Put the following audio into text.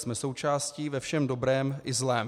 Jsme součástí ve všem dobrém i zlém."